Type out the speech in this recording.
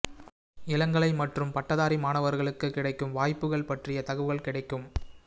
இளங்கலை மற்றும் பட்டதாரி மாணவர்களுக்கு கிடைக்கும் வாய்ப்புகள் பற்றிய தகவல் கிடைக்கும்